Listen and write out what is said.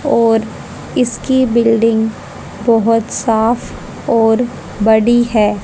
और इसकी बिल्डिंग बहुत साफ और बड़ी है।